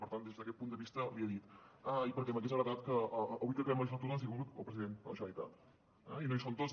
per tant des d’aquest punt de vista l’hi he dit i perquè m’hagués agradat que avui que acabem la legislatura doncs hi hagués hagut el president de la generalitat eh i no hi som tots